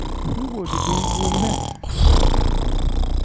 શું બોલું તું બોલની